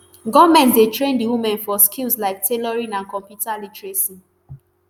goment dey train di women for skills like tailoring and computer literacy